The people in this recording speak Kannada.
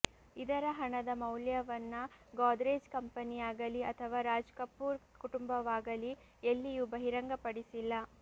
ಇದರ ಹಣದ ಮೌಲ್ಯವನ್ನ ಗೋದ್ರೇಜ್ ಕಂಪನಿಯಾಗಲಿ ಅಥವಾ ರಾಜ್ ಕಪೂರ್ ಕುಟುಂಬವಾಗಲಿ ಎಲ್ಲಿಯೂ ಬಹಿರಂಗಪಡಿಸಿಲ್ಲ